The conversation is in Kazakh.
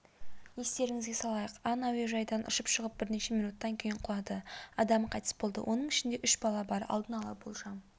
естеріңізге салайық ан әуежайдан ұшып шығып бірнеше минуттан кейін құлады адам қайтыс болды оның ішінде үш бала бар алдын ала болжам